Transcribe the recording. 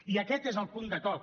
i aquest és el punt de toc